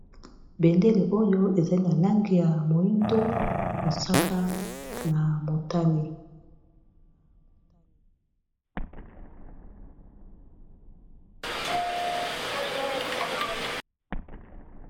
bendele oyo ezali na lange ya moindo mosaka na motami